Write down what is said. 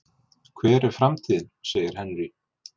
Hver er framtíðin? segir Henry.